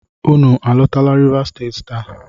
Unu alotala Rivas Steeti taa!